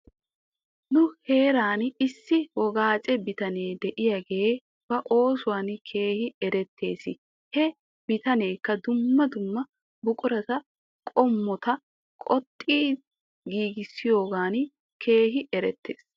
Nu heeran issi wogaacce bitanee de'iyaagee ba oosuwan keehi erettes. He bitaneekka dumma dumma birataa qommota qoxxidi giigissiyoogan keehi erettes.